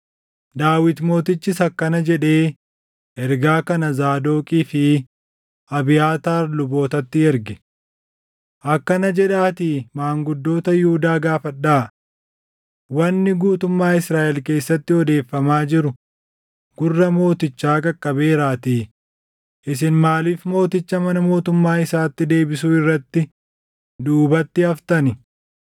Daawit mootichis akkana jedhee ergaa kana Zaadoqii fi Abiyaataar lubootatti erge; “Akkana jedhaatii maanguddoota Yihuudaa gaafadhaa; ‘Wanni guutummaa Israaʼel keessatti odeeffamaa jiru gurra mootichaa qaqqabeeraatii isin maaliif mooticha mana mootummaa isaatti deebisuu irratti duubatti haftani?